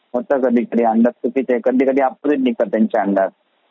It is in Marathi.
होत कधी कधी ते काही कधी ऑपोज़िट निघतात त्यांचे अंदाज